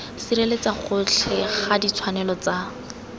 sireletsa gotlhe ga ditshwanelo tsa